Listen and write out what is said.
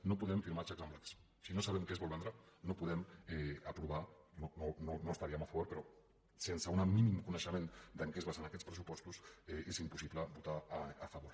no podem firmar xecs en blanc si no sabem què es vol vendre no podem aprovar no hi estaríem a favor però sense un mínim coneixement en què es basen aquests pressupostos és impossible votar a favor